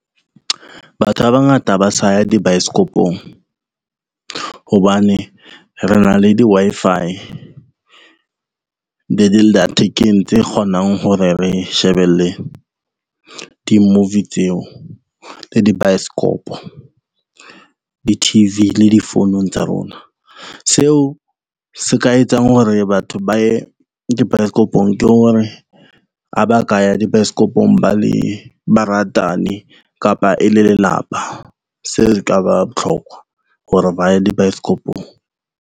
Batho ba bangata ha ba sa ya di baesekopong hobane re na le di-Wi-Fi le dilla thekeng tse kgonang hore re shebelle di-movie tseo le di baesekopo, di-T_V le difounung tsa rona. Seo se ka etsang hore batho ba ye di baesekopong ke hore a ba ka ya di baesekopong ba le baratani kapa e le lelapa. Seo se ka ba botlhokwa hore ba ye di baesekopong.